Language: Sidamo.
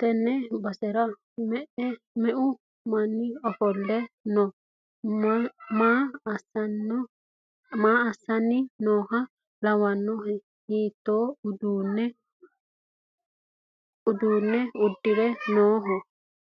tenne basera me'u manni ofolle no? maa assanni nooha lawannohe? hiitto uduunne uddire nooho?